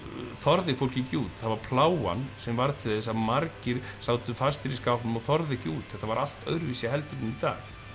þorði fólk ekki út það var plágan sem varð til þess að margir sátu fastir í skápnum og þorðu ekki út þetta var allt öðruvísi heldur en í dag